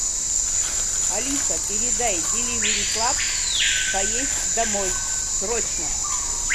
алиса передай деливери клаб поесть домой срочно